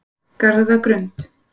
Garðagrund